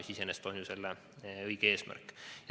See iseenesest on ju õige eesmärk.